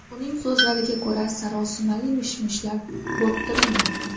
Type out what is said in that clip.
Uning so‘zlariga ko‘ra, sarosimali mish-mishlar bo‘rttirilmoqda.